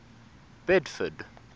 bedford